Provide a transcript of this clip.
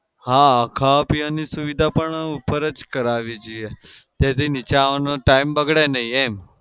હા ખાવા પીવાની સુવિધા પણ ઉપર જ કરાવી જોઈએ. જેથી નીચે આવવાનો time બગડે નઈ એમ.